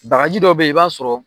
Baraji dɔ bɛ i b'a sɔrɔ.